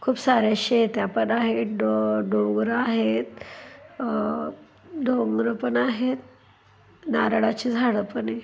खूप सारे शेत्या पण आहे डो- डोंगर आहेत अ डोंगर पण आहेत नारळाचे झाड पण आहे.